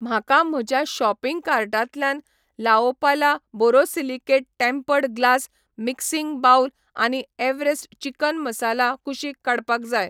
म्हाका म्हज्या शॉपिंग कार्टांतल्यान La Opala borosilicate tempered glass mixing bowl आनी एव्हरेस्ट चिकन मसाला कुशीक काडपाक जाय.